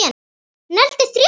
Negldi þrjá!!!